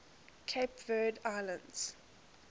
cape verde islands